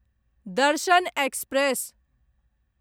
दर्शन एक्सप्रेस